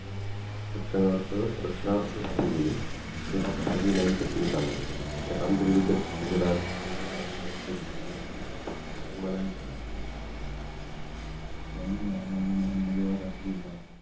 रक्षणार्थ रक्षणार्थ राहून गेले तेव्हा बहजी नाईक जखमी झाला या कामगिरीबद्दल शिवाजी राजेंनी बहाजी नाईक यांचा सन्मान हि केला शिवाजी महाराजांनी ब्रम्हदेवाचा किल्ला